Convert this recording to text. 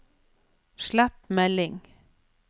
slett melding